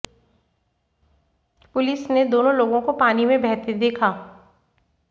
police ने दोनों लोगों को पानी में बहते देखा